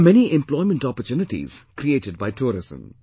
There are many employment opportunities created by tourism